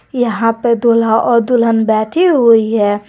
यहां पे दूल्हा और दुल्हन बैठी हुई है।